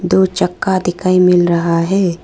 दो चक्का दिखाई मिल रहा है।